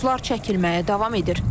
Buzlar çəkilməyə davam edir.